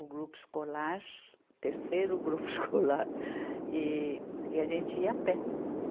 o grupo escolar, terceiro grupo escolar, e, e a gente ia a pé.